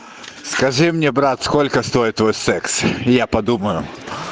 скажи мне брат сколько стоит твой секс я подумаю